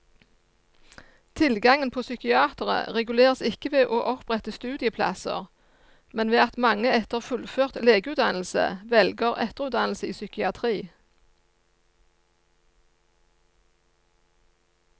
Tilgangen på psykiatere reguleres ikke ved å opprette studieplasser, men ved at mange etter fullført legeutdannelse velger etterutdannelse i psykiatri.